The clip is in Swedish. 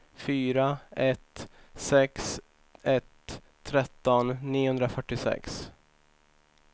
fyra ett sex ett tretton niohundrafyrtiosex